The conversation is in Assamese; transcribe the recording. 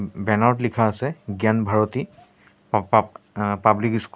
বেনাৰ ত লিখা আছে জ্ঞান ভাৰতী পা পা আ পাব্লিক স্কুল ।